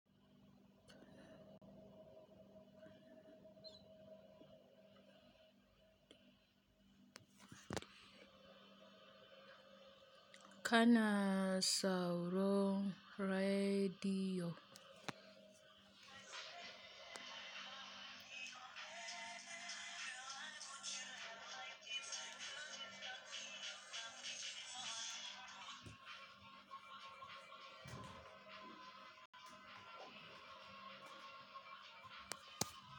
Kana sauro rediyo.